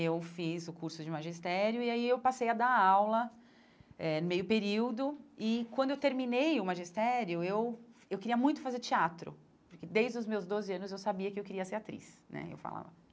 Eu fiz o curso de magistério e aí eu passei a dar aula eh no meio período e, quando eu terminei o magistério, eu eu queria muito fazer teatro, porque, desde os meus doze anos, eu sabia que eu queria ser atriz né eu falava.